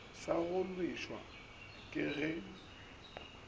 sa go llišwa ke ge